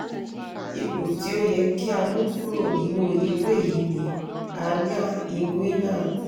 ipo ti o ye ki a mukuro ninu iru eyi ni hernia inguinal